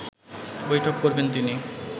বৈঠক করবেন তিনি